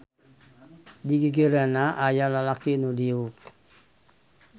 Di gigireunana aya lalaki nu diuk.